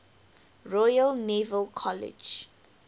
royal naval college